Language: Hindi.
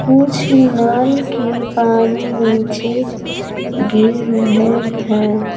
कुछ नल के पानी नीचे गिर रहे हैं।